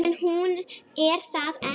En hún er það ekki.